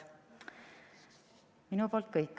Minu poolt kõik.